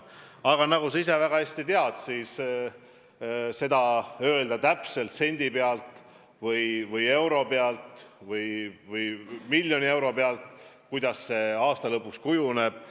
Aga nagu sa ise väga hästi tead, ei saa täpselt sendi pealt või euro pealt või miljoni euro pealt öelda, milliseks see aasta lõpuks kujuneb.